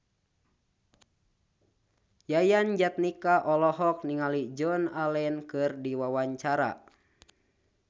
Yayan Jatnika olohok ningali Joan Allen keur diwawancara